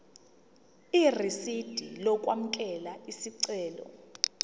irisidi lokwamukela isicelo